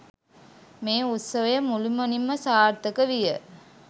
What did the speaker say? මේ උත්සවය මුළුමනින්ම සාර්ථක විය.